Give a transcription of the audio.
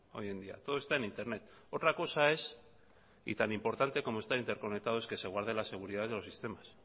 hoy en día todo está en internet otra cosa es y tan importante como estar interconectado es que se guarde la seguridad de los sistemas